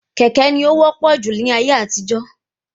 Kékè ní o wọ́pọ̀ júlọ ní ayé àtijó